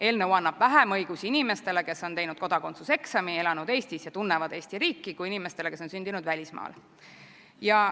Eelnõu annab vähem õigusi inimestele, kes on teinud kodakondsuse eksami, elanud Eestis ja tunnevad Eesti riiki, kui inimestele, kes on sündinud välismaal.